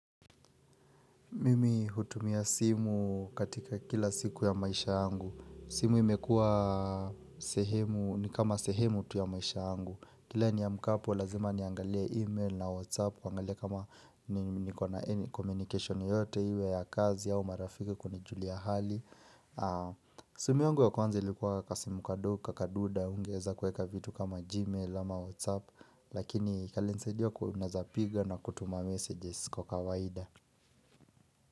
Mimi hutumia simu katika kila siku ya maisha angu. Simu imekua sehemu, ni kama sehemu tu ya maisha angu. Kila niaamkapo, lazima niangalie email na whatsapp, kuangalia kama ni kuna any communication yote iwe ya kazi ya marafiki kunijulia hali. Simu yangu ya kwanza ilikuwa kasinu kadogo, kakaduda, hungeweza kueka vitu kama gmail ama whatsapp, lakini kalisaidia unaezapiga na kutuma messages kwa kawaida.